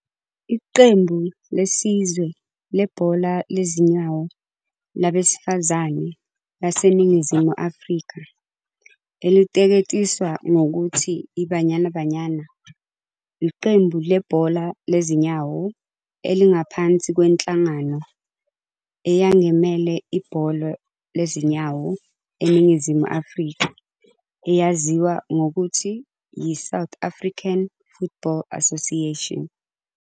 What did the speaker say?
Iqembu lesizwe lebhola lezinyawo labesifazane laseNingizimu Afrika eliteketiswa ngokuthi i"Banyana Banyana" iqembu lebhola lezinyawo elingaphansi kwenhlangano eyangemele ibhola lezinyawo eNingizimu Afrika eyaziwa ngokuthi yi-South African Football Association.